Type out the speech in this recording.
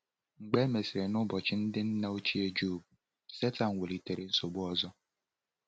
Mgbe e mesịrị, n’ụbọchị ndị nna ochie Jọb, Satọn welitere nsogbu ọzọ.